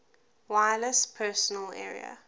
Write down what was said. wireless personal area